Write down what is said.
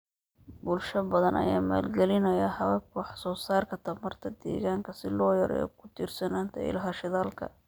Bulsho badan ayaa maalgalinaya hababka wax soo saarka tamarta deegaanka si loo yareeyo ku tiirsanaanta ilaha shidaalka.